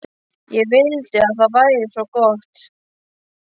Ég vildi að það væri svo gott.